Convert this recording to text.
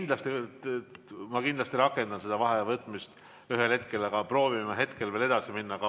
Ma ühel hetkel kindlasti rakendan seda vaheaja võtmise võimalust, aga proovime praegu veel edasi minna.